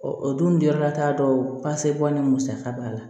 o dun jɔyɔrɔla t'a dɔn pase bɔ ni musaka b'a la